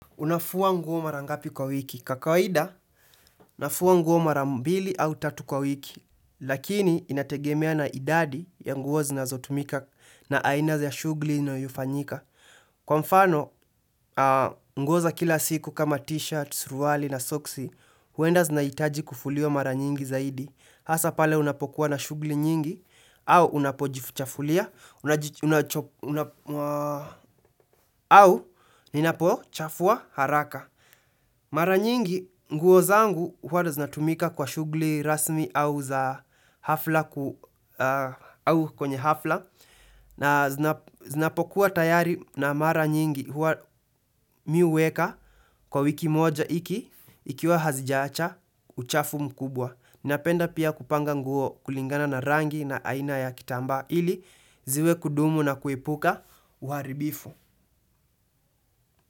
Unafua nguo mara ngapi kwa wiki. Kwa kawaida, nafua nguo mara mbili au tatu kwa wiki. Lakini, inategemea na idadi ya nguo zinazotumika na aina za shughuli inayofanyika. Kwa mfano, nguo za kila siku kama t-shirt, suruwali na soksi, huenda zinahitaji kufuliwa mara nyingi zaidi. Hasa pale unapokuwa na shughuli nyingi, au unapojichafulia, au ninapochafua haraka. Mara nyingi, nguo zangu huwa hata zinatumika kwa shughuli rasmi au za hafla au kwenye hafla na zinapokuwa tayari na mara nyingi huwa mimi huweka kwa wiki moja ikikiwa hazijaacha uchafu mkubwa. Ninapenda pia kupanga nguo kulingana na rangi na aina ya kitamba ili ziwe kudumu na kuepuka uaribifu.